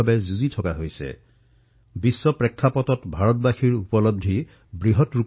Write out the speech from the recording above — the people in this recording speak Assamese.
যেতিয়া আমি বিশ্বলৈ প্ৰত্যক্ষ কৰো তেতিয়া আমাৰ এনে অনুভৱ হয় যে বাস্তৱিকতে ভাৰতবাসীৰ অভিজ্ঞতা কিমান বৃহৎ